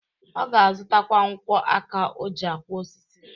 Ọ ga-azutakwa nkwọ aka o ji akwọ osisi.